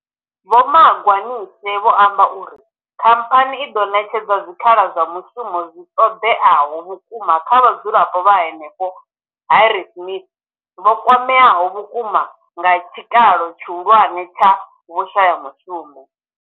Vho Magwanishe vho amba uri. Khamphani i ḓo ṋetshedza zwikhala zwa mushumo zwi ṱoḓeaho vhukuma kha vhadzulapo vha henefho Harrismith vho kwameaho vhukuma nga tshikalo tshihulwane tsha vhushayamushumo.